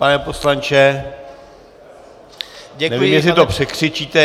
Pane poslanče, nevím, jestli to překřičíte.